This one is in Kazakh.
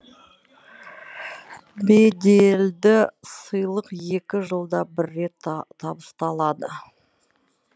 беделді сыйлық екі жылда бір рет табысталады